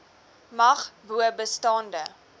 mag bo bestaande